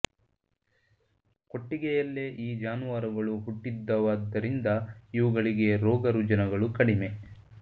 ಕೊಟ್ಟಿಗೆಯಲ್ಲೇ ಈ ಜಾನುವಾರುಗಳು ಹುಟ್ಟಿದ್ದವ್ದ್ದಾದರಿಂದ ಇವುಗಳಿಗೆ ರೋಗ ರುಜಿನಗಳು ಕಡಿಮೆ